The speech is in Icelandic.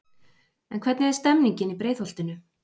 En hvernig er stemmningin í Breiðholtinu?